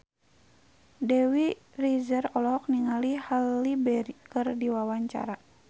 Dewi Rezer olohok ningali Halle Berry keur diwawancara